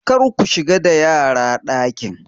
Kar ku shiga da yara dakin!